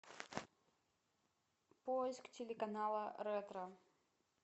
поиск телеканала ретро